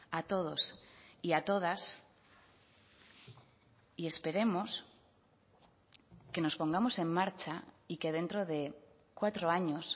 a todos y a todas y esperemos que nos pongamos en marcha y que dentro de cuatro años